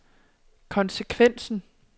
konsekvensen